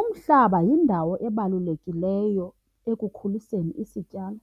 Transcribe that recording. Umhlaba yindawo ebalulekileyo ekukhuliseni isityalo.